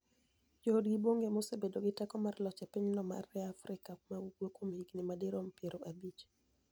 Joodgi Bonigo ema osebedo gi teko mar loch e piny no maniie Afrika ma ugwe kuom higinii madirom piero abich.